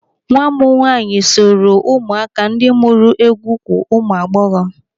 Nwa m nwaanyị soro ụmụaka ndị mụọ egwu ukwu ụmụ agbọghọ.